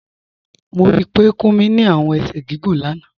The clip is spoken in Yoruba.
Mo rí pé Kúmí ni awọn èṣẹ̀ gígùn lána